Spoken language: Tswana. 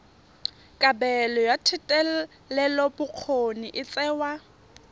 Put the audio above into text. kabelo ya thetelelobokgoni e tsewa